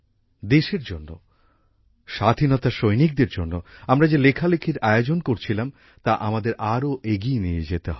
দেশের জন্য স্বাধীনতার সৈনিকদের জন্য আমরা যে লেখালেখির আয়োজন করছিলাম তা আমাদের আরো এগিয়ে নিয়ে যেতে হবে